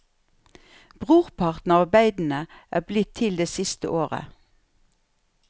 Brorparten av arbeidene er blitt til det siste året.